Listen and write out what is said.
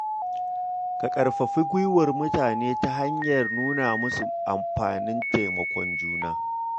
Ka ƙarfafi guiwar mutane ta hanyar nuna musu amfanin taimakon juna.